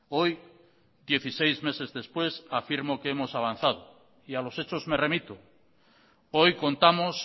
hoy dieciséis meses después afirmo que hemos avanzado y a los hechos me remito hoy contamos